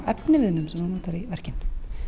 efniviðnum sem þú ntoar í verkin